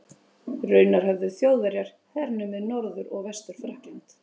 Raunar höfðu Þjóðverjar hernumið Norður- og Vestur-Frakkland.